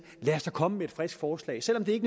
at komme med et frisk forslag selv om det